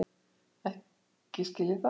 Ekki skil ég það.